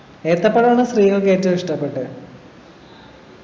ഏത്തപ്പഴാണോ സ്ത്രീകൾക്ക് ഏറ്റവും ഇഷ്ടപ്പെട്ടെ